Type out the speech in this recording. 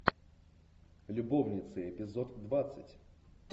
любовницы эпизод двадцать